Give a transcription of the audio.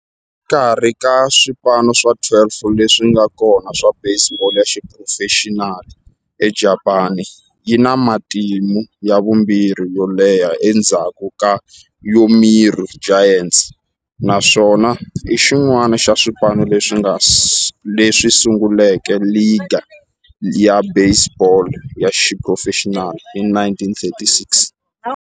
Exikarhi ka swipano swa 12 leswi nga kona swa baseball ya xiphurofexinali eJapani, yi na matimu ya vumbirhi yo leha endzhaku ka Yomiuri Giants, naswona i xin'wana xa swipano leswi sunguleke ligi ya baseball ya xiphurofexinali hi 1936.